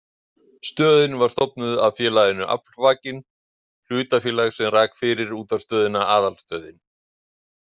Stöðin var stofnuð af félaginu Aflvakinn hlutafélag sem rak fyrir útvarpsstöðina Aðalstöðin.